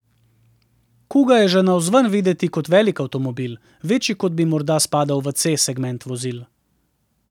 Kuga je že navzven videti velik avtomobil, večji kot bi morda spadal v C segment vozil.